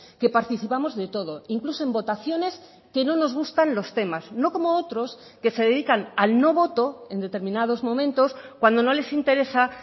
que participamos de todo incluso en votaciones que no nos gustan los temas no como otros que se dedican al no voto en determinados momentos cuando no les interesa